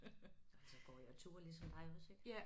Og så går jeg tur ligesom dig også ik